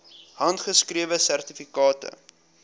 handgeskrewe sertifikate